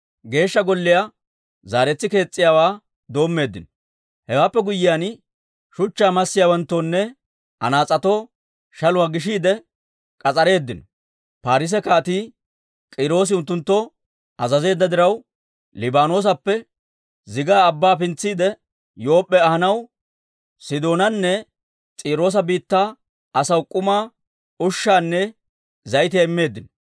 Hewaappe guyyiyaan, shuchchaa massiyaawanttoonne anaas'etoo shaluwaa gishiide k'as'areeddino. Paarise Kaatii K'iiroosi unttunttoo azazeedda diraw, Liibaanoosappe zigaa abbaa pintsiide, Yoop'p'e ahanaw Sidoonanne S'iiroosa biittaa asaw k'umaa, ushshaanne zayitiyaa immeeddino.